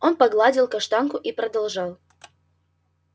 он погладил каштанку и продолжал